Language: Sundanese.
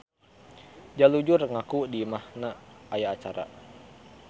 Jalujur ngaku di imahna aya arca.